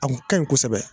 A kun ka ɲi kosɛbɛ